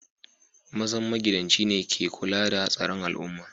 Mazan magidanci ne ka kulla da tsaron al'umman.